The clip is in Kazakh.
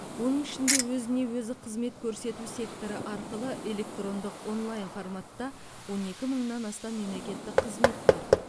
оның ішінде өзіне өзі қызмет көрсету секторы арқылы электрондық онлайн форматта он екі мыңнан астам мемлекеттік қызмет бар